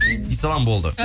дей салам болды